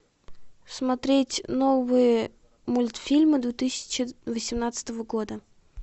смотреть новые мультфильмы две тысячи восемнадцатого года